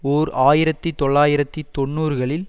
ஓர் ஆயிரத்தி தொள்ளாயிரத்தி தொன்னூறுகளில்